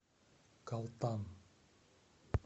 калтан